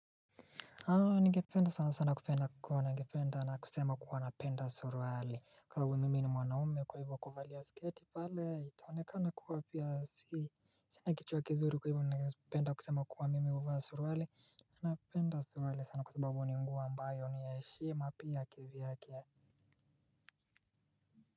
Ningependa sana sana kupenda kuwa na ngependa na kusema kuwa napenda suruali. Kama hivi mimi ni mwanaume kwa hivyo kuvalia sketi pale itaonekana kuwa pia si sina kichwa kizuri kwa hivyo ningependa kusema kuwa mimi huvaa suruali. Napenda suruali sana kwa sababu ni nguo ambayo ni ya heshima pia kivyake.